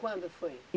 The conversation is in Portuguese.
Quando foi?